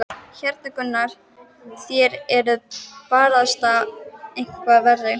Hérna Gunnar, þér eruð barasta eitthvað verri!